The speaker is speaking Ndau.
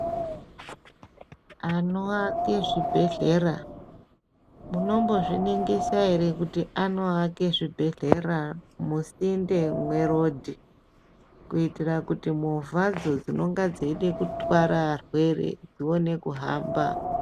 Anoaka zvibhedhlera munombozviningisa ere kuti anoaka zvibhedhlera musinde merodhi kuitira kuti movha dzinenge dzeida kutwara varwere dzione kuhamba.